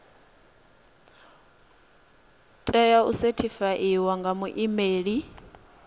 tea u sethifaiwa nga muimeli